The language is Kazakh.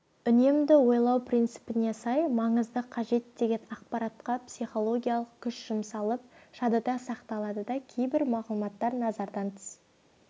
үнемді ойлау принципіне сай маңызды қажет деген ақпаратқа психологиялық күш жұмсалып жадыда сақталады да кейбір мағлұматтар назардан тыс